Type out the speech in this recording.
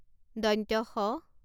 স